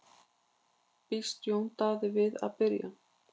Býst Jón Daði við að byrja?